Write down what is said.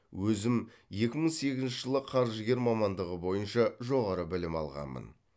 өзім екі мың сегізінші жылы қаржыгер мамандығы бойынша жоғары білім алғанмын